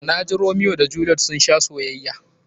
Na ji Romiyo da Jeliyet sun sha soyayya.